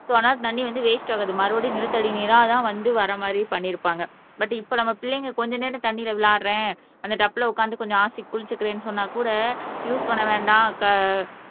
so அதனால தண்ணி வந்து வேஸ்ட் ஆகாது மறுபடியும் நிலத்தடி நீரா தான் வந்து வர மாதிரி பண்ணி இருப்பாங்க பட் இப்போ நம்ம பிள்ளைங்க கொஞ்ச நேரம் தண்ணீரில் விளையாடுகிறேன் அந்த டப்புல உக்காந்து கொஞ்சம் ஆசைக்கு குளிச்சிக்கிறேன்னு சொன்னா கூட யூஸ் பண்ண வேண்டாம் க